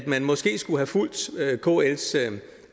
man måske skulle have fulgt kls